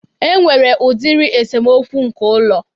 E nwere udiri esemokwu nke ụlọ